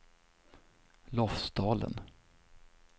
Lofsdalen